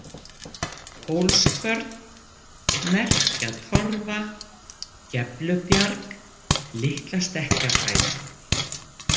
Hólskvörn, Merkjatorfa, Geflubjarg, Litla-Stekkjarhæð